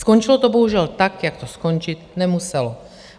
Skončilo to bohužel tak, jak to skončit nemuselo.